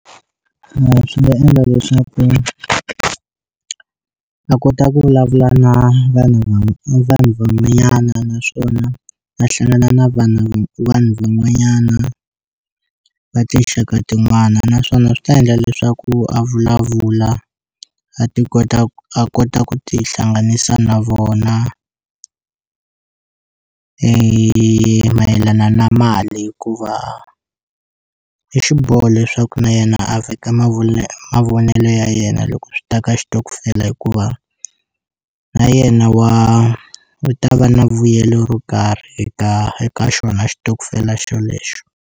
swi nga endla leswaku a kota ku vulavula na vanhu vanhu van'wanyana naswona a hlangana na vanhu vanhu van'wanyana va tinxaka tin'wana naswona swi ta endla leswaku a vulavula a ti kota ku a kota ku ti hlanganisa na vona mayelana na mali hikuva i xiboho leswaku na yena a veka mavonelo ya yena loko swi ta ka xitokofela hikuva na yena wa u ta va na vuyelo ro karhi eka eka xona xitokofela xolexo.